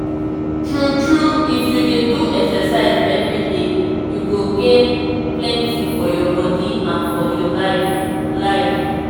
true true if you dey do exercise everyday you go gain plenty for your body and your life. life.